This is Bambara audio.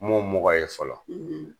N m'o mɔgɔ ye fɔlɔ